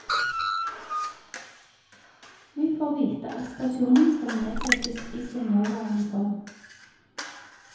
Vi får vite at stasjonen skal nedlegges i sin nåværende form.